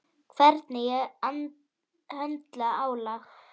Hvernig ég höndla álag.